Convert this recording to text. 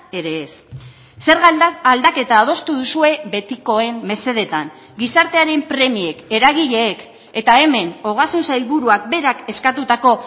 ere ez zerga aldaketa adostu duzue betikoen mesedeetan gizartearen premiek eragileek eta hemen ogasun sailburuak berak eskatutako